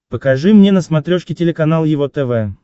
покажи мне на смотрешке телеканал его тв